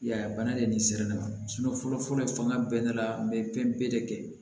I y'a ye bana de nin sera ne ma fɔlɔ fɔlɔ bɛɛ la n be pɛnpe de kɛ